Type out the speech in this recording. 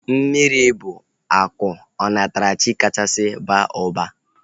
Mmiri bụ akụ onatarachi kachasị baa ụba